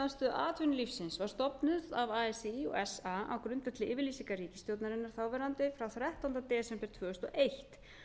atvinnulífsins var stofnuð af así og fa á grundvelli yfirlýsingar ríkisstjórnarinnar þáverandi frá þrettánda desember tvö þúsund og eitt